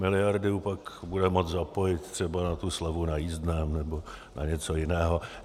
Miliardu pak bude moci zapojit třeba na tu slevu na jízdném nebo na něco jiného.